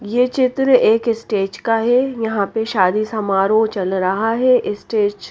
ये चित्र एक स्टेज का है यहां पे शादी समारोह चल रहा है स्टेज --